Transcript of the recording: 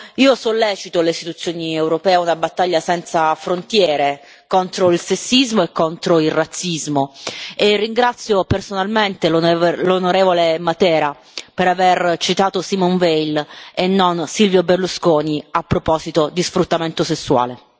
Io sollecito le istituzioni europee a una battaglia senza frontiere contro il sessismo e contro il razzismo e ringrazio personalmente l'onorevole Matera per aver citato Simone Veil e non Silvio Berlusconi a proposito di sfruttamento sessuale.